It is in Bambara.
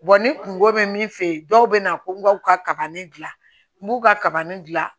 ni kungo bɛ min fɛ yen dɔw bɛ na ko n k'u ka kabanni dilan n k'u ka kabanni dilan